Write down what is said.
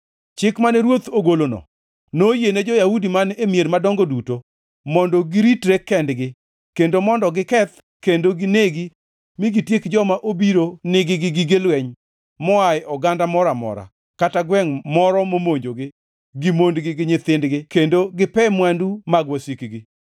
Chik mane ruoth ogolono noyiene jo-Yahudi man e mier madongo duto mondo giritre kendgi; kendo mondo giketh kendo ginegi mi gitieki joma obiro nigi gi gige lweny moa e oganda moro amora, kata gwengʼ moro momonjogi gi mondgi gi nyithindgi kendo gipe mwandu mag wasikgi.